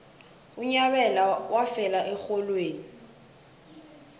unyabela wafela erholweni